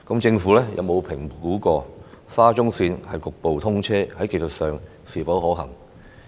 政府有否評估沙中線局部通車在技術上是否可行？